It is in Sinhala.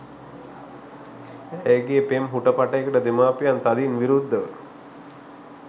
ඇයගේ පෙම් හුටපටයකට දෙමාපියන් තදින් විරුද්ධව